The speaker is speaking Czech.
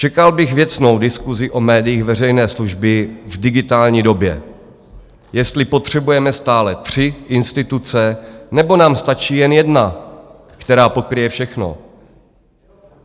Čekal bych věcnou diskusi o médiích veřejné služby v digitální době, jestli potřebujeme stále tři instituce, nebo nám stačí jen jedna, která pokryje všechno.